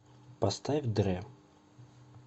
поставь дрэ